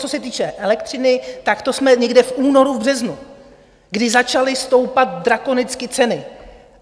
Co se týče elektřiny, tak to jsme někde v únoru, v březnu, kdy začaly stoupat drakonicky ceny.